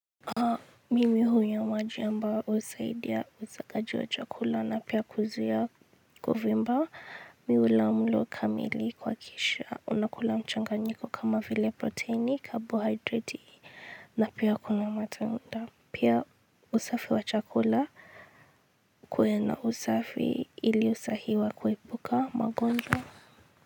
Mimi hunywa maji ambayo husaidia usagaji wa chakula na pia kuzia kuvimba miula mlo kamili kwa kisha unakula mchanga nyiko kama vile protini, kabohiderati na pia kuna matunda. Pia usafi wa chakula kuwe na usafi ili usahiwa kuepuka magonjwa.